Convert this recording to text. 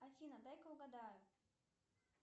афина дай ка угадаю